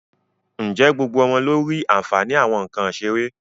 Ǹjẹ́ gbogbo ọmọ ló rí àǹfààní àwọn nǹkan ìṣeré?